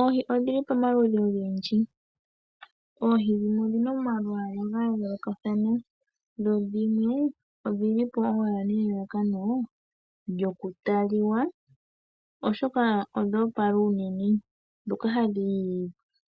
Oohi odhi li pamaludhi ogendji. Dhimwe odhi na omalwaala ga yoolokathana dho dhimwe ohadhi munwa nelalakano lyokutalwa, voshoka odho opala unene nohadhi